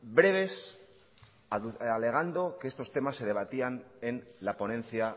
breves alegando que estos temas se debatían en la ponencia